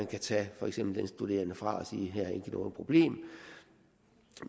kan tage for eksempel studerende fra og sige her er der ikke noget problem